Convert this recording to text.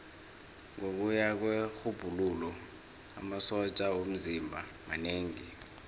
ngokuya kwerhubhululo amasotja womzimba manengi